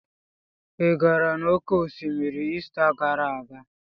Ị gara n'oké osimiri Ista gara aga?